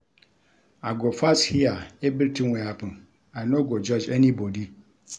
I go first hear everytin wey happen, I no go judge anybodi.